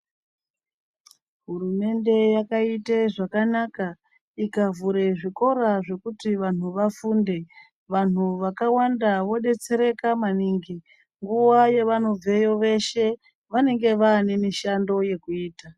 Hurumende yakaite zvakanaka, ikavhure zvikora zvekuti vanthu vafunde. Vanthu vakawanda vodetsereka maningi. Nguva yevanobveyo veshe vanenge vaane mishando yekuita.